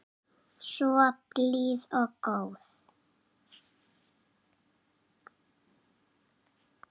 Samt svo blíð og góð.